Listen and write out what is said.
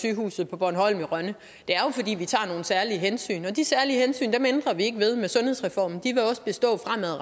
sygehuset på bornholm i rønne det er jo fordi vi tager nogle særlige hensyn og de særlige hensyn ændrer vi ikke ved med sundhedsreformen de vil også bestå